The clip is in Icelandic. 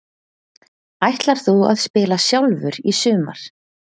Ætlar þú að spila sjálfur í sumar?